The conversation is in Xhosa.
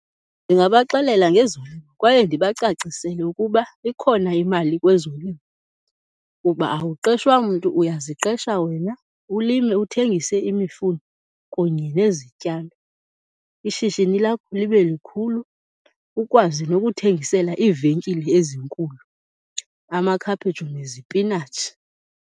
Ndingabaxelela ngezolimo kwaye ndibacacisele ukuba ikhona imali kwezolimo kuba awuqeshwa mntu, uyaziqesha wena, ulime, uthengise imifuno kunye nezityalo, ishishini lakho libe likhulu ukwazi nokuthengisela iivenkile ezinkulu amakhaphetshu nezipinatshi.